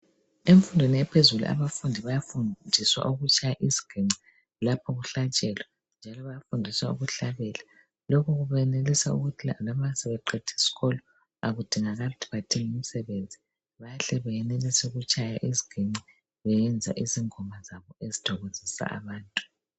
Emfundweni yaphezulu abafundi bayafundiswa ukutshaya isiginci lapho kuhlatshelwa njalo bayafundiswa ukuhlabela. Lokhu kwenza loba sebeqede isikolo bangadingi imisebenzisi bayenelisa ukutshaya isiginci behlabela ìngoma ezìthokozisa abantu